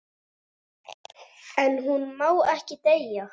En hún má ekki deyja.